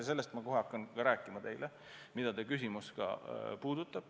Ma sellest hakkan kohe teile rääkima, sest seda teie küsimus puudutab.